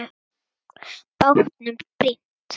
Bátnum brýnt.